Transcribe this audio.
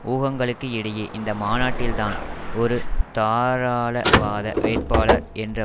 ஊகங்களுக்கு இடையே இந்த மாநாட்டில் தான் ஒரு தாராளவாத வேட்பாளர் என்ற